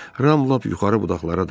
Ram lap yuxarı budaqlara dırmaşdı.